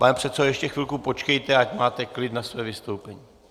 Pane předsedo, ještě chvilku počkejte, ať máte klid na své vystoupení.